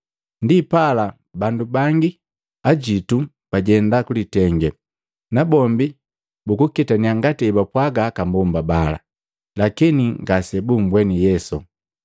Ndipala bandu bangi ajitu bajenda kulitenge, nabombi bukuketannya ngati ebapwaga aka mbomba bala, lakini ngase bumbweni Yesu.”